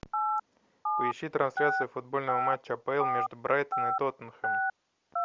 поищи трансляцию футбольного матча апл между брайтон и тоттенхэм